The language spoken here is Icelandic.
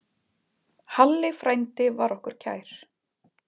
Halli frændi var okkur kær.